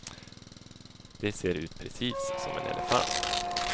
Det ser ut precis som en elefant.